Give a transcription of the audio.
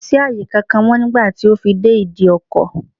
Kò sí àyè kankan mọ́ nígbà tí ó fi dé ìdí ọkọ̀.